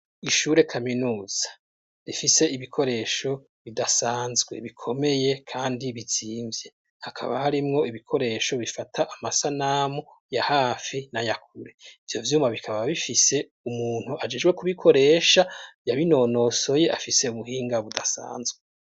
Ishure kaminuza rifise ibikoresho bidasanzwe bikomeye, kandi bizimvye hakaba harimwo ibikoresho bifata amasanamu ya hafi na yakure ivyo vyuma bikaba bifise umuntu ajijwe kubikoresha yabinonosoye afise ubuhinga budasanzwe.